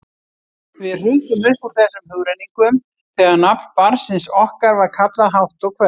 Við hrukkum upp úr þessum hugrenningum þegar nafn barnsins okkar var kallað hátt og hvellt.